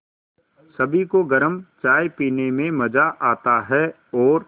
सभी को गरम चाय पीने में मज़ा आता है और